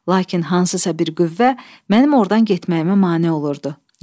Lakin hansısa bir qüvvə mənim ordan getməyimə mane olurdu.